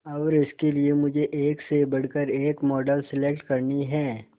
और इसके लिए मुझे एक से बढ़कर एक मॉडल सेलेक्ट करनी है